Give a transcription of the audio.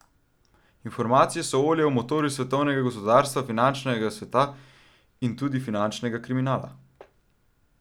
Informacije so olje v motorju svetovnega gospodarstva, finančnega sveta in tudi finančnega kriminala.